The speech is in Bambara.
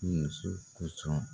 I muso kosɔn.